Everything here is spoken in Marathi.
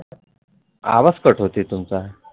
आवाज कट होतोय तुमचा